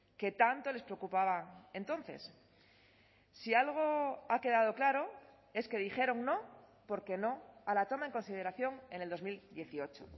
que tanto les preocupaba entonces si algo ha quedado claro es que dijeron no porque no a la toma en consideración en el dos mil dieciocho